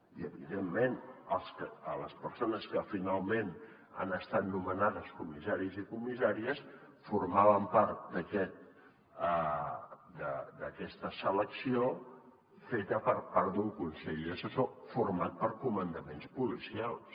i evidentment les persones que finalment han estat nomenades comissaris i comissàries formaven part d’aquesta selecció feta per part d’un consell assessor format per comandaments policials